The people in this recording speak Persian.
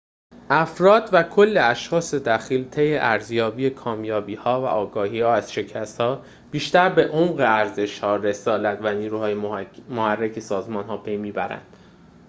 افراد و کل اشخاص دخیل طی ارزیابی کامیابی‌ها و آگاهی از شکست‌ها بیشتر به عمق ارزش‌ها رسالت و نیروهای محرک سازمان پی می‌برند